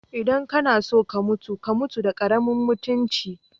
Idan ka na so ka mutum, ka mutu da karemin mutumci.